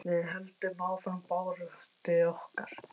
Við höldum áfram baráttu okkar.